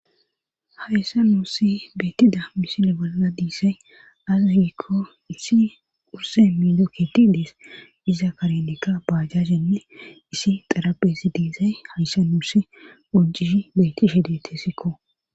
Hayssa nuussi beettida misile bolaa diisay azagikko issi urse miido keeti dees iza karenekka baajasenne isi xarabesi diisay hayssa nuuse ojishi betti shedete sikko